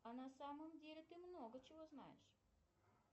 а на самом деле ты много чего знаешь